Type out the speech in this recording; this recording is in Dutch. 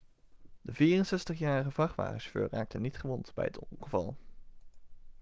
de 64-jarige vrachtwagenchauffeur raakte niet gewond bij het ongeval